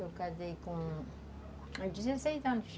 Eu casei com... com dezesseis anos.